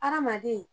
Hadamaden